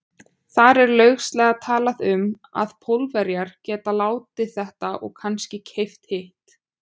Þar er lauslega talað um, að Pólverjar geti látið þetta og kannske keypt hitt.